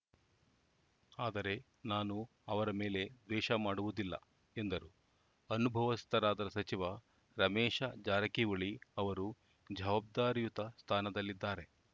ಆದರೆ ನಾನು ಅವರ ಮೇಲೆ ದ್ವೇಷ ಮಾಡುವುದಿಲ್ಲ ಎಂದರು ಅನುಭವಸ್ಥರಾದ ಸಚಿವ ರಮೇಶ ಜಾರಕಿಹೊಳಿ ಅವರು ಜವಾಬ್ದಾರಿಯುತ ಸ್ಥಾನದಲ್ಲಿದ್ದಾರೆ